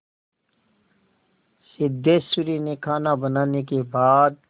सिद्धेश्वरी ने खाना बनाने के बाद